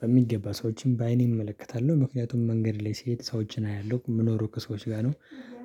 በሚገባ ሰዎችን በአይኔ እመለከታለሁ ምክንያቱም መንገድ ላይ ስሄድ ሰዎችን አያለሁ የምኖሩ ከሰዎች ጋር ነው።